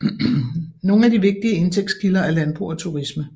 Nogle af de vigtigste indtægtskilder er landbrug og turisme